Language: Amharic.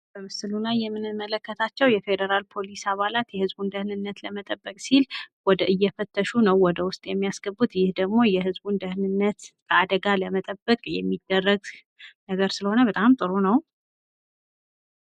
በምስሉ ላይ የምንመለከታቸው የፌዴራል ፖሊስ አባላት የህዝብ ደህንነት ለመጠበቅ ሲል ወደ እየፈተሽ ነው ወደ ውስጥ የሚያስገቡት ደግሞ የዝቡን ደህንነት አደጋ ለመጠበቅ የሚደረግ ነገር ስለሆነ በጣም ጥሩ ነው።